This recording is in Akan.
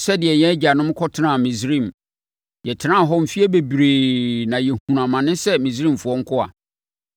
sɛdeɛ yɛn agyanom kɔtenaa Misraim. Yɛtenaa hɔ mfeɛ bebree na yɛhunuu amane sɛ Misraimfoɔ nkoa.